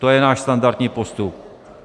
To je náš standardní postup.